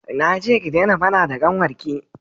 na ce ku dena faɗa da ƙanwar ki!